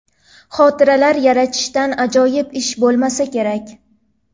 Xotiralar yaratishdan ajoyib ish bo‘lmasa kerak.